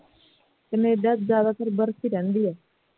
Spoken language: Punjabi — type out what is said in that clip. Canada ਚੋਂ ਜਿਆਦਾਤਰ ਬਰਫ਼ ਹੀ ਰਹਿੰਦੀ ਹੈ